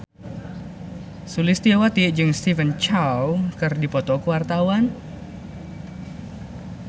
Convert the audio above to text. Sulistyowati jeung Stephen Chow keur dipoto ku wartawan